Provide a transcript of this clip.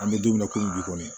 An bɛ don min na komi bi kɔni